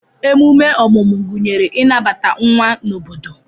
Ememe ọmụmụ gụnyere ịnabata nwa n'obodo